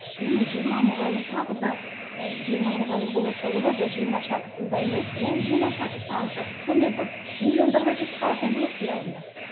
менің жиырма мұғалім тағы да ы жиырма мұғалім болады да олар да жиырма шәкіртін дайындайды ол жиырма шәкірт тағы шәкірт сонымен бір миллиондарға жетіп қалатын едім ғой қиялымда